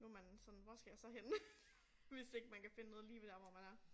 Nu man sådan hvor skal jeg så hen hvis ikke man kan finde noget lige ved dér hvor man er